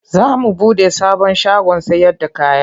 Za mu buɗe sabon shagon sayarda kaya.